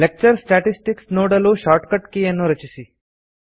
lecture statistics ನೋಡಲು shortcut key ಯನ್ನು ರಚಿಸಿ